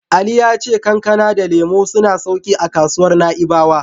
Ali ya ce kankana da lemo suna sauƙi a kasuwar Na'ibawa.